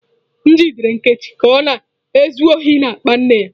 M jidere Nkechi ka ọ na-ezu ohi n'akpa nne ya.